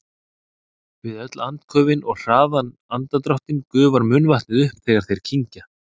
Við öll andköfin og hraðan andardráttinn gufar munnvatnið upp þegar þeir kyngja.